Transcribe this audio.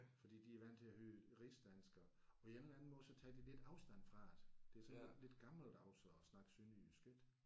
Fordi de er vant til at høre rigsdansk og og på en eller anden måde så tager de lidt afstand fra det. Det er sådan lidt gammeldags at snakke sønderjysk ik